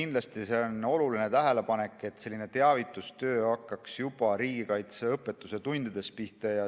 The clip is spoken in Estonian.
Kindlasti on see oluline tähelepanek, et selline teavitustöö hakkaks juba riigikaitseõpetuse tundides pihta.